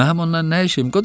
Mənim ondan nə işim?